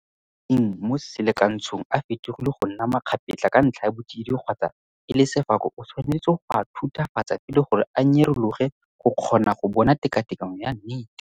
Fa metsi a a leng mo selakantshong a fetogile go nna makgapetla ka ntlha ya botsididi kgotsa e le sefako o tshwanetse go a thuthufatsa pele gore a nyerologe go kgona go bona tekatekanyo ya nnete.